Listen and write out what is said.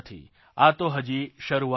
આ તો હજી શરૂઆત છે